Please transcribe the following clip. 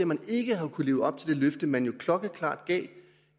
man ikke har kunnet leve op til det løfte som man jo klokkeklart gav